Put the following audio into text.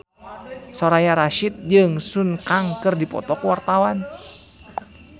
Soraya Rasyid jeung Sun Kang keur dipoto ku wartawan